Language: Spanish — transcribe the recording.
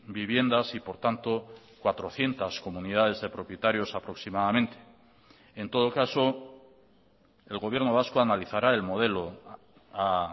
viviendas y por tanto cuatrocientos comunidades de propietarios aproximadamente en todo caso el gobierno vasco analizará el modelo a